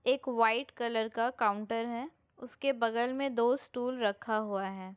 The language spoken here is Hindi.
एक वाइट कलर का काउंटर है उसके बगल में दो स्टूल रखा हुआ है।